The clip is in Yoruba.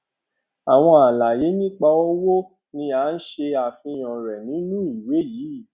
àwọn àlàyé nípa owó ni a se àfihàn re nínú ìwé yi